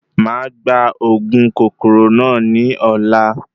Máà gba òògùn kòkòrò náà ní ọ̀la